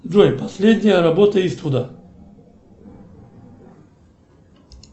джой последняя работа иствуда